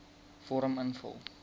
vorm invul